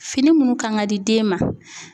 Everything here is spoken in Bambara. Fini munnu kan ka di den ma